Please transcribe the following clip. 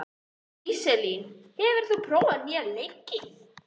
Íselín, hefur þú prófað nýja leikinn?